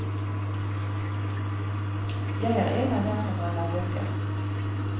Jeg er en av dem som brenner bøker.